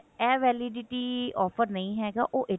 ਇਹ validity offer ਨਹੀ ਹੈਗਾ ਉਹ